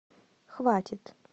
хватит